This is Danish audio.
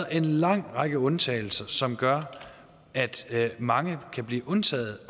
en lang række undtagelser som gør at mange kan blive undtaget